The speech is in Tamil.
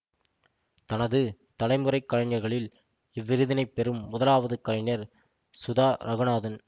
தனது தலைமுறைக் கலைஞர்களில் இவ்விருதினைப் பெறும் முதலாவது கலைஞர் சுதா ரகுநாதன்